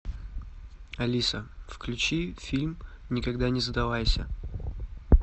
алиса включи фильм никогда не задавайся